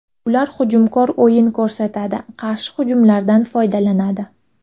Ular hujumkor o‘yin ko‘rsatadi, qarshi hujumlardan foydalanadi.